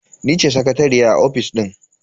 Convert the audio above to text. Ni ce sakatariya a ofis din.